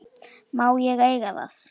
Má ég eiga það?